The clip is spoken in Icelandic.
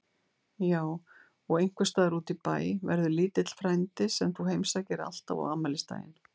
Já og einhvers staðar útí bæ verður lítill frændi sem þú heimsækir alltaf á afmælisdaginn.